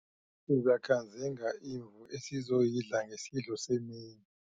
Sizakhanzinga imvu esizoyidla ngesidlo semini.